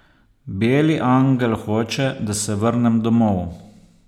Beli angel hoče, da se vrnem domov.